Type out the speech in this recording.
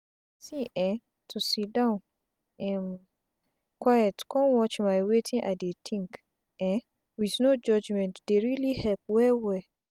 see eh to siddon um quiet con watch my wetin i dey tink um with no judgment dey reali help well well.